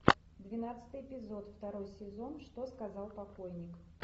двенадцатый эпизод второй сезон что сказал покойник